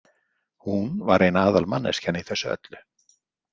Hún var ein aðalmanneskjan í þessu öllu.